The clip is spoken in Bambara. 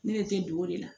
Ne be don o de la